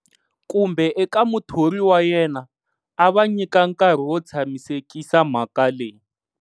Kumbe eka muthori wa yena, a va nyika nkarhi wo tshamisekisa mhaka leyi.